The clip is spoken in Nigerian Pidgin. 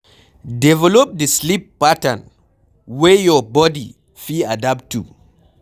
Develop di sleep pattern wey your bodi fit adapt to